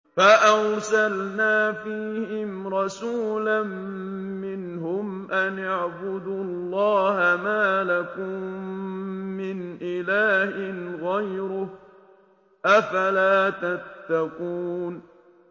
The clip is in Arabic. فَأَرْسَلْنَا فِيهِمْ رَسُولًا مِّنْهُمْ أَنِ اعْبُدُوا اللَّهَ مَا لَكُم مِّنْ إِلَٰهٍ غَيْرُهُ ۖ أَفَلَا تَتَّقُونَ